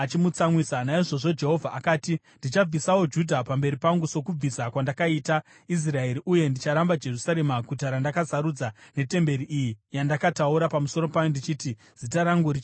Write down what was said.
Naizvozvo Jehovha akati, “Ndichabvisawo Judha pamberi pangu sokubvisa kwandakaita Israeri, uye ndicharamba Jerusarema, guta randakasarudza, netemberi iyi, yandakataura pamusoro payo ndichiti, ‘Zita rangu richagarapo.’ ”